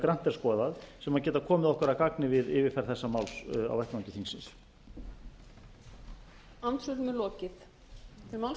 grannt er skoðað sem geta komið okkur að gagni við yfirferð þessa máls á vettvangi þingsins